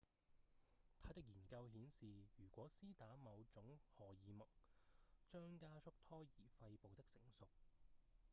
他的研究顯示如果施打某種荷爾蒙將加速胎兒肺部的成熟